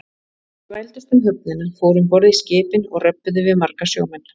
Þeir þvældust um höfnina, fóru um borð í skipin og röbbuðu við marga sjómenn.